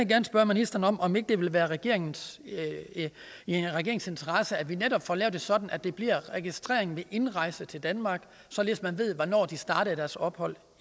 gerne spørge ministeren om ikke det vil være i regeringens interesse at vi netop får lavet det sådan at der bliver registrering ved indrejse til danmark således at man ved hvornår de startede deres ophold